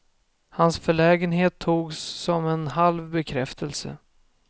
Hans förlägenhet togs som en halv bekräftelse.